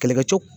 Kɛlɛkɛcɛw